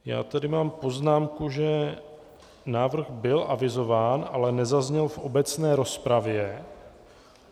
Já tady mám poznámku, že návrh byl avizován, ale nezazněl v obecné rozpravě.